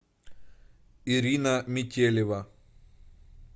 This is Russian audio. ирина метелева